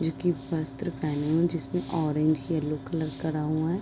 एक ये वस्त्र पहना हुआ है जिसमे ओरेंज यल्लो कलर करा हुआ है।